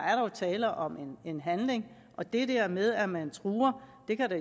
tale om en handling og det der med at man truer kan det